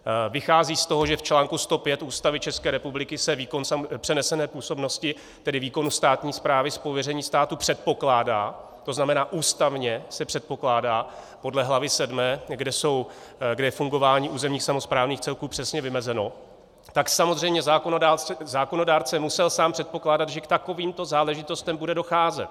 Vychází z toho, že v článku 105 Ústavy České republiky se výkon přenesené působnosti, tedy výkonu státní správy z pověření státu, předpokládá, to znamená, ústavně se předpokládá podle hlavy VII, kde je fungování územních samosprávných celků přesně vymezeno, tak samozřejmě zákonodárce musel sám předpokládat, že k takovýmto záležitostem bude docházet.